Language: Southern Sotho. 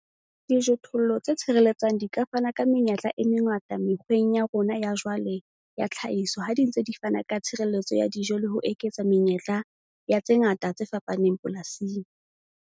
Dijothollo tse tshireletsang di ka fana ka menyetla e mengata mekgweng ya rona ya jwale ya tlhahiso ha di ntse di fana ka tshireletso ya dijo le ho eketsa menyetla ya tse ngata tse fapaneng polasing.